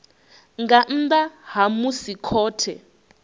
nga nnḓa ha musi khothe